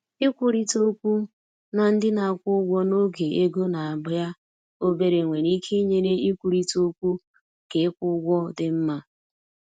Ikwurịta okwu na ndị na-akwụ ụgwọ n’oge ego na-abịa obere nwere ike inyere ịkwurịta okwu ka ịkwụ ụgwọ dị mma.